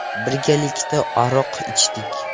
Birgalikda aroq ichdik.